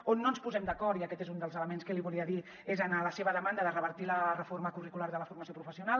on no ens posem d’acord i aquest és un dels elements que li volia dir és en la seva demanda de revertir la reforma curricular de la formació professional